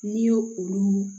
N'i y'o olu